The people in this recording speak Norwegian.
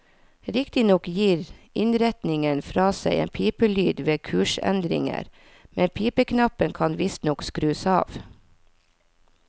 Riktignok gir innretningen fra seg en pipelyd ved kursendringer, men pipeknappen kan visstnok skrus av.